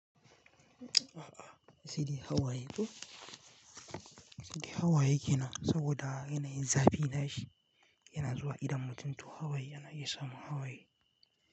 A'a, asili Hawaye ko. Asili Hawaye kenan saboda yana yin zafi nashi yana zuwa idan mutun to Hawaye yana iya samun Hawaye.